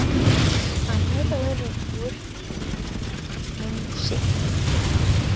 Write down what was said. Hann er öruggur um sigur.